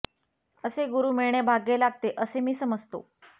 असे गुरू मिळणे भाग्य लागते असे मी समजतो